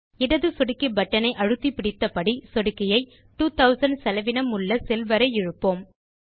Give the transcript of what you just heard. இடது சொடுக்கி பட்டன் ஐ அழுத்த்திப்பிடித்தபடி சொடுக்கியை 2000 செலவினம் உள்ள செல் வரை இழுப்போம்